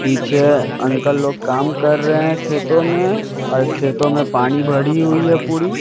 पीछे अंकल लोग काम कर रहे हैं खेतों में और खेतों में पानी बड़ी हुई है पूरी--